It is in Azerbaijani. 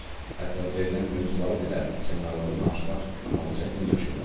Hətta verilən mövzuları belə seminarlarda danışmaqla bağlı çətinlik yaşayırlar.